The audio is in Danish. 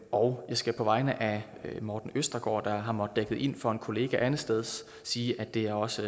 og jeg skal på vegne af morten østergaard der har måttet dække ind for en kollega andetsteds sige at det også